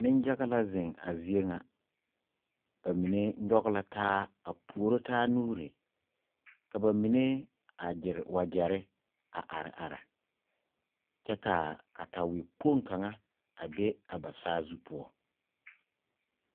Neŋyaga la zeŋ a zie ŋa ba mine nyɔge la taa a puoro taa nuuri ka ba mine a gyere wagyɛre a are are kyɛ ka katawɛkpoŋ kaŋa are a be ba saazu poɔ.